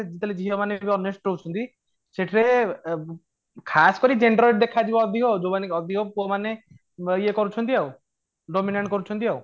ଆଜିକାଲି ଝିଅ ମାନେ ବି honest ରହୁଛନ୍ତି ସେଥିରେ ଖାସ କରି gender ଦେଖାଯିବ ଅଧିକ ଯୋଉମାନେ ଅଧିକ ପୁଅ ମାନେ ଇୟେ କରୁଛନ୍ତି ଆଉ dominant କରୁଛନ୍ତି